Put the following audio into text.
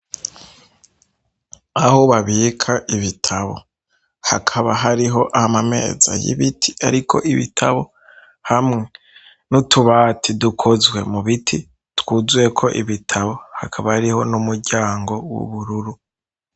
Aho babika ibitabo hakaba hariho amameza y'ibiti ariko ibitabo hamwe n'utubati dukozwe mu biti, twuzuyeko ibitabo, hakaba hariho n'umuryango w'ubururu.